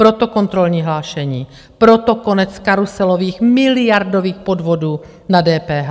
Proto kontrolní hlášení, proto konec karuselových miliardových podvodů na DPH.